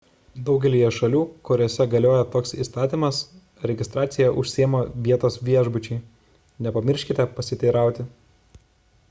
daugelyje šalių kuriose galioja toks įstatymas registracija užsiima vietos viešbučiai nepamirškite pasiteirauti